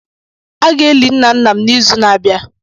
A ga-eli nna nna nna m n'izu na-abịa